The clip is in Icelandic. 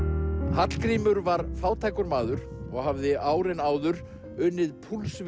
Hallgrímur var fátækur maður og hafði árin áður unnið